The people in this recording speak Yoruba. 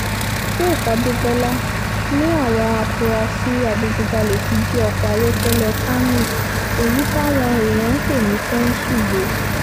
faith adébólà ni àwọn afurasí adigunjalè ti jí ọkọ̀ ayọ́kẹ́lẹ́ camry èyí táwọn èèyàn ń pè ní pẹ́ńsù gbé